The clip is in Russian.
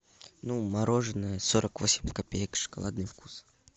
ну мороженое сорок восемь копеек шоколадный вкус